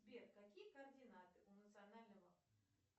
сбер какие координаты у национального